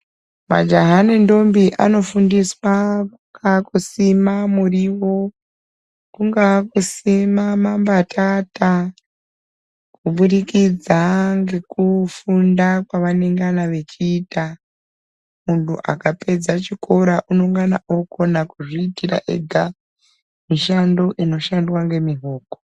Majaha nendombi anofundiswa kungaa kusima muriwo kungaa kusima mambatata kubudikidza ngekufunda kwavanengana vechiita, muntu akapedza chikora unongana okona kuzviitira ega mishando inoshandwa ngemihoko.